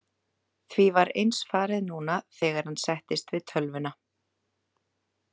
Því var eins farið núna þegar hann settist við tölvuna.